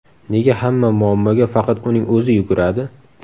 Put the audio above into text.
Nega hamma muammoga faqat uning o‘zi yuguradi?